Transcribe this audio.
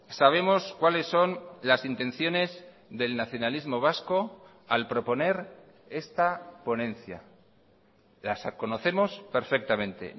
sabemos cuáles son las intenciones del nacionalismo vasco al proponer esta ponencia las conocemos perfectamente